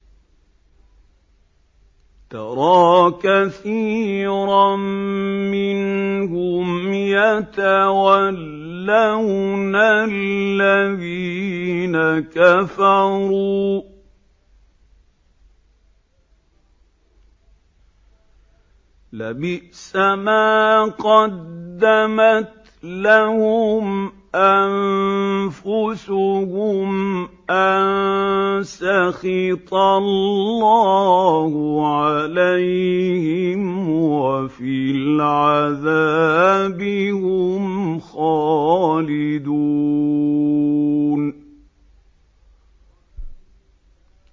تَرَىٰ كَثِيرًا مِّنْهُمْ يَتَوَلَّوْنَ الَّذِينَ كَفَرُوا ۚ لَبِئْسَ مَا قَدَّمَتْ لَهُمْ أَنفُسُهُمْ أَن سَخِطَ اللَّهُ عَلَيْهِمْ وَفِي الْعَذَابِ هُمْ خَالِدُونَ